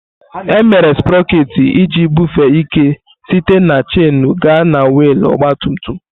Emere Sproket iji bufee ike site na chainu gaa na wiil ọgba tum tum.